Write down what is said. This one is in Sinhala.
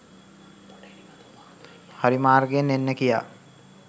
හරි මාර්ගයෙන් එන්න කියා